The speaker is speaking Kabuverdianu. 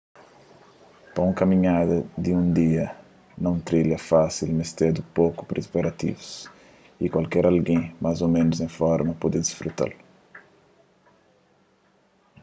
pa un kaminhada di un dia na un trilha fásil mestedu poku priparativus y kualker algen más ô ménus en forma pode disfruta-l